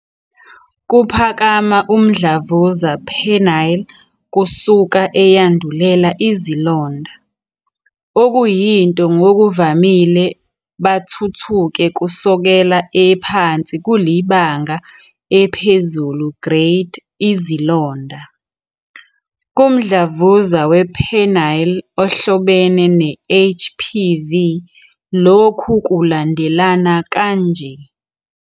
Kuphakama umdlavuza Penile kusuka eyandulela izilonda, okuyinto ngokuvamile bathuthuke kusukela ephansi kulibanga ephezulu grade izilonda. Kumdlavuza we-penile ohlobene ne-HPV lokhu kulandelana kanje.